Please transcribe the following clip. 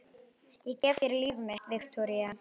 Ég gef þér líf mitt, Viktoría.